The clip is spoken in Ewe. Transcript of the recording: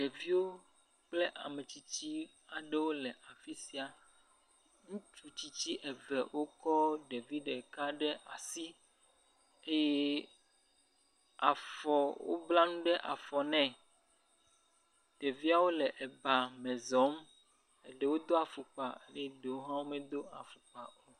Ɖeviwop kple ame tysitsi aɖewo le afi sia. Ŋutsu tsitsi eve wokɔ ɖevi ɖeka ɖe asi eye afɔ wobla nu ɖe afɔ nɛ. Ɖeviawo le eba me zɔm, ɖewo do afɔkpa eye ɖewo hã womedo afɔkpa o.